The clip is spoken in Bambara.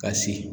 Ka sigi